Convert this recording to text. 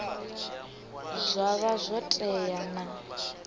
zwa vha zwo tea na